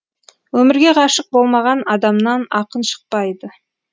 өмірге ғашық болмаған адамнан ақын шықпайды